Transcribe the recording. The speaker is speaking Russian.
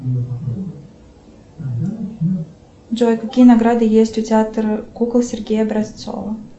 джой какие награды есть у театра кукол сергея образцова